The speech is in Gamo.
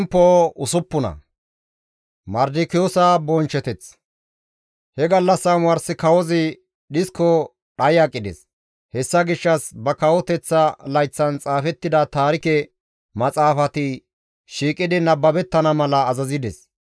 He gallassa omars kawozi dhisko dhayi aqides; hessa gishshas ba kawoteththa layththan xaafettida Taarike maxaafati shiiqidi nababettana mala azazides.